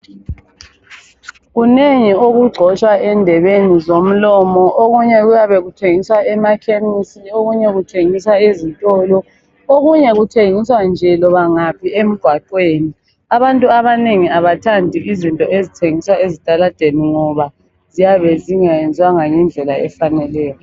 Kunengi okugcotshwa endebeni zomlomo. Okunye kuyabe kuthengiswa emakhemisi okunye kuthengiswa ezitolo. Okunye kuthengiswa nje loba ngaphi emgwaqweni. Abantu abanengi abathandi izinto ezithengiswa ezitaladeni ngoba ziyabe zingayenziwanga ngendlela efaneleyo.